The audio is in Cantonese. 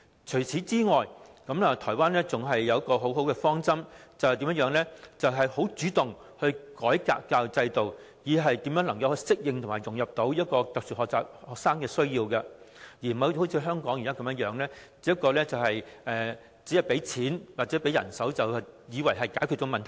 除此以外，台灣更採取了一個很好的方針，便是主動改革教育制度，令有特殊學習需要的學童可以適應及融入，而不是像香港現時般，以為只提供資源及人手便能解決問題。